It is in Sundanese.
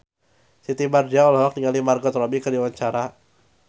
Siti Badriah olohok ningali Margot Robbie keur diwawancara